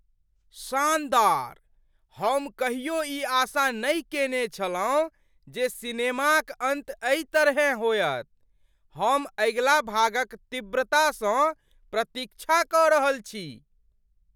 शानदार! हम कहियो ई आशा नहि केने छलहुँ जे सिनेमाक अन्त एहि तरहेँ होयत। हम अगिला भागक तीव्रता सँ प्रतीक्षा कऽ रहल छी।